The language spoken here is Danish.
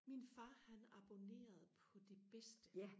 min far han abonnerede på det bedste